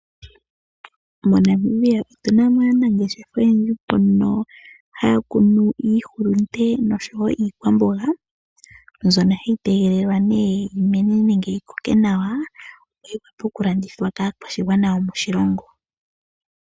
MoNamibia otuna mo aanangeshefa oyendji mbono haya kunu iihulunde nosho wo iikwamboga mbyono hayi tegelelwa ne yimene nenge yikoke nawa yivule okulandithwa kaakwashigwana yomoshilongo.